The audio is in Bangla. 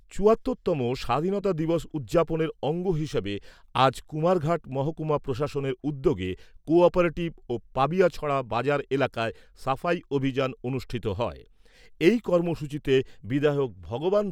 চুয়াত্তর তম স্বাধীনতা দিবস উদযাপনের অঙ্গ হিসেবে আজ কুমারঘাট মহকুমা প্রশাসনের উদ্যোগে কোঅপারেটিভ ও পাবিয়াছড়া বাজার এলাকায় সাফাই অভিযান অনুষ্ঠিত হয়। এই কর্মসূচিতে বিধায়ক ভগবান